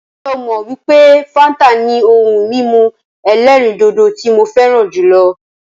Ǹjẹ́ ó mọ wípé fáńtà ni ohun mímu ẹ̀lẹ́rìndodò tí mo fẹràn jùlọ?